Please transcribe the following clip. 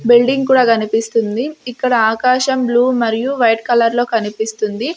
Building కూడా కనిపిస్తుంది ఇక్కడ ఆకాశం బ్లూ మరియు వైట్ కలర్ లో కనిపిస్తుంది.